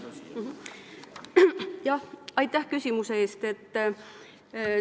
Aitäh küsimuse eest!